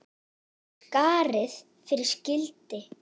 Vonandi hefur þú fundið frið.